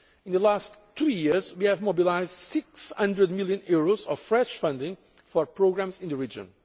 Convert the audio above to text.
In the past two years we have mobilised EUR 600 million of fresh funding for programmes in the region.